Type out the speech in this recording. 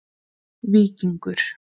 Víkingur